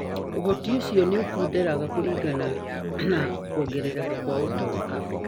ũhoti ũcio nĩ ũkunderaga kũringana na kuongerereka kwa ũtonga.